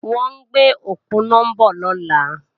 Wọ́n ń gbé òponá bọ̀ lọ́la